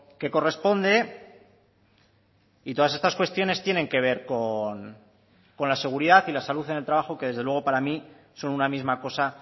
que corresponde y todas estas cuestiones tienen que ver con la seguridad y la salud en el trabajo que desde luego para mí son una misma cosa